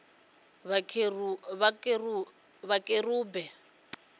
vhakerube